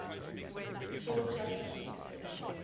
short track speed